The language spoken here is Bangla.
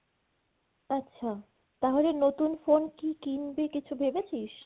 আচ্ছা তাহলে নতুন phone কী কিনবি কিছু ভেবেছিস?